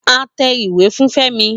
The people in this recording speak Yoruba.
A tẹ ìwé fún Femi